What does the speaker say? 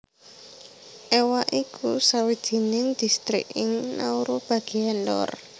Ewa iku sawijining distrik ing Nauru bagéan lor